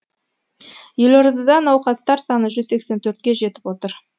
елордада науқастар саны жүз сексен төртке жетіп отыр